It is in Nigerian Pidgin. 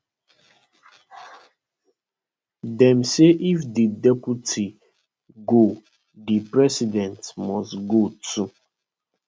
dem say if di deputy go di president must go too